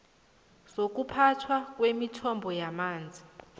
zokuphathwa kwemithombo yamanzi